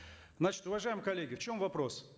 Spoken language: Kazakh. значит уважаемые коллеги в чем вопрос